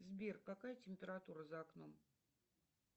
сбер какая температура за окном